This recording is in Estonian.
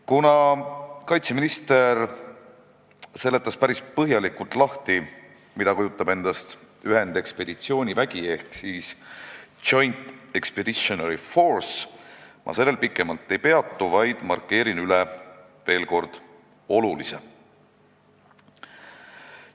Kuna kaitseminister seletas päris põhjalikult lahti, mida kujutab endast ühendekspeditsioonivägi , ma sellel pikemalt ei peatu, vaid markeerin veel kord seda, mis on oluline.